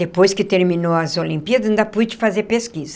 Depois que terminou as Olimpíadas, ainda pude fazer pesquisa.